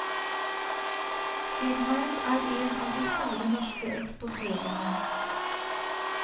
Firmaet er en av de store norske eksportørene.